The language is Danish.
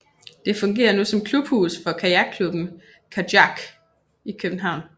Det fungerer nu som klubhus for kajakklubben Qajaq København